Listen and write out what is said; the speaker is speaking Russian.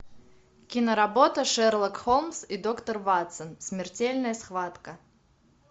киноработа шерлок холмс и доктор ватсон смертельная схватка